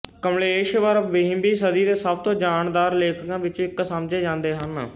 ਕਮਲੇਸ਼ਵਰ ਵੀਹਵੀਂ ਸਦੀ ਦੇ ਸਭ ਤੋਂ ਜਾਨਦਾਰ ਲੇਖਕਾਂ ਵਿੱਚੋਂ ਇੱਕ ਸਮਝੇ ਜਾਂਦੇ ਹਨ